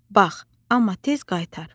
Bax, amma tez qaytar.